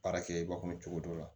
Baara kɛba kɔnɔ cogo dɔ la